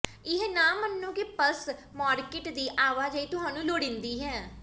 ਇਹ ਨਾ ਮੰਨੋ ਕਿ ਪਲੱਸ ਮਾਰਕੀਟ ਦੀ ਆਵਾਜਾਈ ਤੁਹਾਨੂੰ ਲੋੜੀਂਦੀ ਹੈ